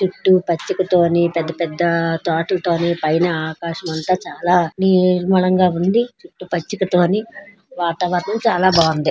చుట్టూ పచ్చికతోని పెద్ద పెద్ద పైన ఆకాశమంత చాలా నిర్మలంగా ఉంది. చుట్టుపచ్చక తోని వాతావరణం చాలా బాగుంది.